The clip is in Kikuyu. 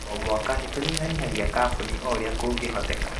O mwaka nĩ tũnyihanyihagia kaboni o ũrĩa kũngĩhoteka.